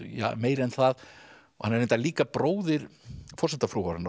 meira en það hann er reyndar líka bróðir